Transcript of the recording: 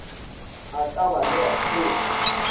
a ka ba le bathekgi